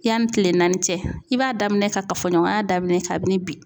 Yanni tile naani cɛ i b'a daminɛ ka kafoɲɔgɔnya daminɛ kabini bi .